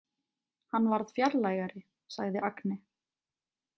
Hann varð fjarlægari, sagði Agne.